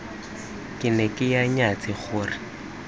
ke ne ke nyatsa gore